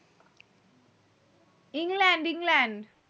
England England